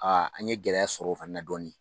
an ye gɛlɛya sɔrɔ o fɛnɛ na dɔɔni